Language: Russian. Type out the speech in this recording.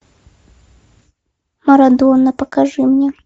марадона покажи мне